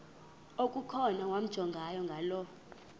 okukhona wamjongay ngaloo